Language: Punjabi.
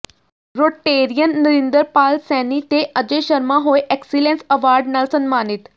ਰੋਟੇਰੀਅਨ ਨਰਿੰਦਰ ਪਾਲ ਸੈਣੀ ਤੇ ਅਜੈ ਸ਼ਰਮਾ ਹੋਏ ਐਕਸੀਲੇਂਸ ਅਵਾਰਡ ਨਾਲ ਸਨਮਾਨਿਤ